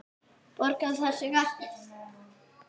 Borgar það sig ekki?